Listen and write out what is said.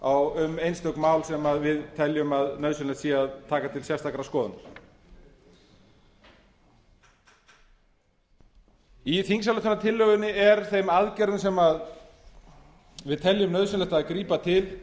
samráð um einstök mál sem við teljum að nauðsynlegt sé að taka til sérstakrar skoðunar í þingsályktunartillögunni er þeim aðgerðum sem við teljum nauðsynlegt að grípa til